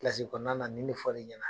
kɔnɔna na nin ne fɔr'i ɲɛna ?